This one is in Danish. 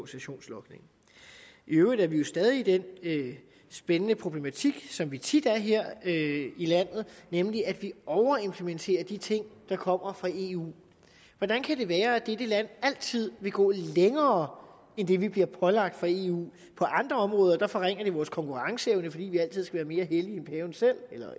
sessionslogning i øvrigt er vi jo stadig i den spændende problematik som vi tit er her i landet nemlig at vi overimplementerer de ting der kommer fra eu hvordan kan det være at dette land altid vil gå længere end det vi bliver pålagt fra eu på andre områder forringer det vores konkurrenceevne fordi vi altid skal være mere hellige